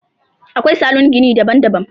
Akwai salon gini daban daban.